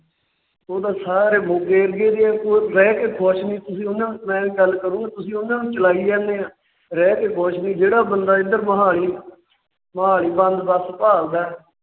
ਉਹ ਤਾਂ ਸਾਰੇ ਮੋਗੇ Area ਦੇ ਹੈ ਉਹ ਰਹਿ ਕੇ ਖੁਸ਼ ਨਹੀਂ। ਤੁਸੀਂ ਉਹਨਾਂ ਨੂੰ ਚਲਾਈ ਜਾਣੇ ਹੋ । ਰਹਿਕੇ ਖੁਸ਼ ਨੇ ਜਿਹੜਾ ਬੰਦਾ ਇੱਧਰ ਮੋਹਾਲੀ ਵੱਲ ਬੱਸ ਭਾਲਦਾ